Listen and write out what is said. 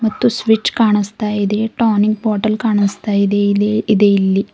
ಮತ್ತು ಸ್ವಿಚ್ ಕಾಣಸ್ತಾ ಇದೆ ಟಾನಿಕ್ ಬಾಟಲ್ ಕಾನಸ್ತಾ ಇದೆ ಇಲ್ಲಿ ಇದೆ ಇಲ್ಲಿ.